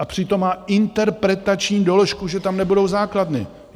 A přitom má interpretační doložku, že tam nebudou základny.